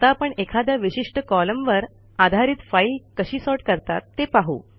आता आपण एखाद्या विशिष्ट कॉलमवर आधारित फाईल कशी सॉर्ट करतात ते पाहू